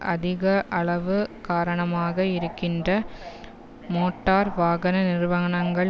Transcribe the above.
அதிகளவு காரணமாக இருக்கின்ற மோட்டார் வாகன நிறுவானங்கள்